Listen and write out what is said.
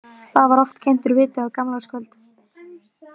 Þar var oft kyntur viti á gamlárskvöld.